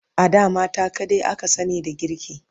A da mata kadai aka sani da girki